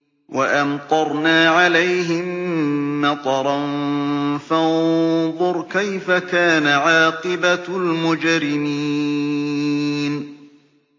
وَأَمْطَرْنَا عَلَيْهِم مَّطَرًا ۖ فَانظُرْ كَيْفَ كَانَ عَاقِبَةُ الْمُجْرِمِينَ